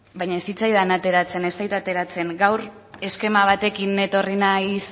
baina ez zitzaidan ateratzen ez zait ateratzen gaur eskema batekin etorri naiz